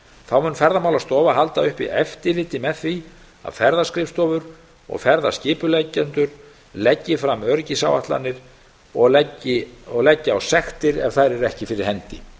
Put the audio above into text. þá mun ferðamálastofa halda uppi eftirliti með því að ferðaskrifstofur og ferðaskipuleggjendur leggi fram öryggisáætlanir og leggi á sektir ef þær eru ekki fyrir hendi